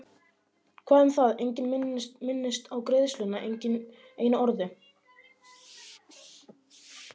Hvað um það, enginn minntist á greiðsluna, ekki einu orði.